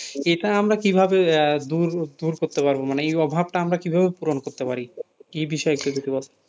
ইটা আমরা কিভাবে দূর দূর করতে পারব মানে এই অভাবটা কিভাবে পূরণ করতে পারি, এ বিষয়ে একটু যদি বলেন,